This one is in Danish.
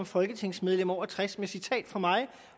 folketingsmedlemmer over tres med citat fra mig